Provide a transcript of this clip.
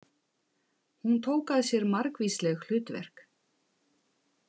Hún tók að sér margvísleg hlutverk.